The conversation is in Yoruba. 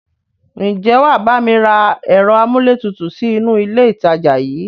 Ǹjẹ́ wàá bá mi rá ẹ̀rọ amúlétutù sì inú ilé ìtajà yìí?